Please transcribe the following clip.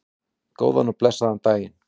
Góðan og blessaðan daginn!